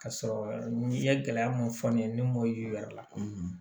Ka sɔrɔ n'i ye gɛlɛya mun fɔ n ye ne m'o yi yɛrɛ